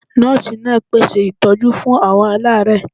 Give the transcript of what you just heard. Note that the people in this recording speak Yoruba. Nọ́ọ̀sì náà pé ṣe ìtọ́jú fún àwọn alaare